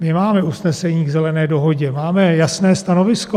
My máme usnesení k Zelené dohodě, máme jasné stanovisko.